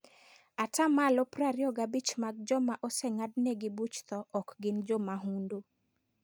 Ata malo 25 mag joma oseng'ad negi buch tho ok gin jomahundu.